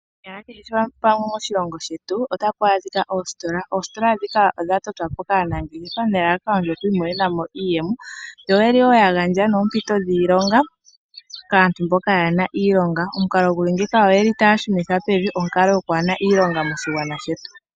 Konyala kehe pamwe moshilongo shetu otapu adhika oositola. Oositola ndhika odha totwa po kaanangeshefa nelalakano yi imonene mo iiyemo yo oye li wo ya gandja noompito dhiilonga kaantu mboka kaye na iilonga, omukalo nguka otaya shunitha onkalo yokwaa na iilonga moshilongo shetu.